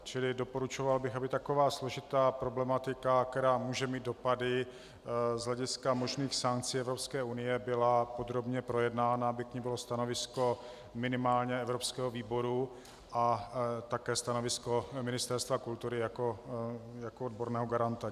Čili doporučoval bych, aby taková složitá problematika, která může mít dopady z hlediska možných sankcí Evropské unie, byla podrobně projednána, aby k ní bylo stanovisko minimálně evropského výboru a také stanovisko Ministerstva kultury jako odborného garanta.